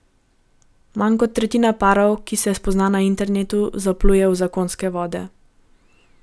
Manj kot tretjina parov, ki se spozna na internetu, zapluje v zakonske vode.